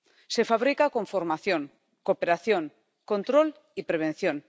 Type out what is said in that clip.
Se fabrica con formación, cooperación, control y prevención.